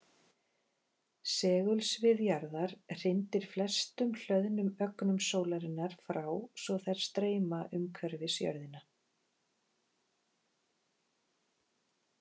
Segulsvið jarðar hrindir flestum hlöðnum ögnum sólarinnar frá svo þær streyma umhverfis jörðina.